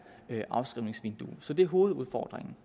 afskrivningsvindue så det er hovedudfordringen